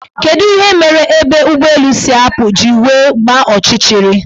Kedu ihe mere ebe ụgbọelu si apụ ji wee gbaa ọchịchịrị?